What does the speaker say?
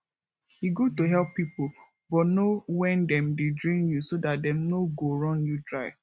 e good to help pipo but know when dem dey drain you so dat dem no go run you dry